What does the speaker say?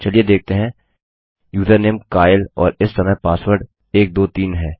चलिए देखते हैं यूजरनेम काइल और इस समय पासवर्ड 123 है